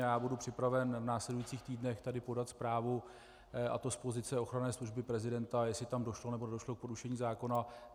Já budu připraven v následujících týdnech tady podat zprávu, a to z pozice ochranné služby prezidenta, jestli tam došlo, nebo nedošlo k porušení zákona.